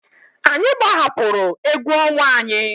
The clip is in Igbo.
Anyị gbahapụrụ egwu ọnwa anyị.